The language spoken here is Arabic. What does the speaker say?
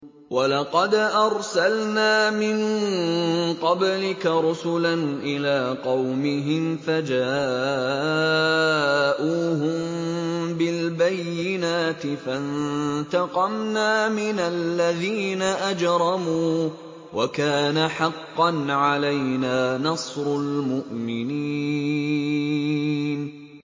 وَلَقَدْ أَرْسَلْنَا مِن قَبْلِكَ رُسُلًا إِلَىٰ قَوْمِهِمْ فَجَاءُوهُم بِالْبَيِّنَاتِ فَانتَقَمْنَا مِنَ الَّذِينَ أَجْرَمُوا ۖ وَكَانَ حَقًّا عَلَيْنَا نَصْرُ الْمُؤْمِنِينَ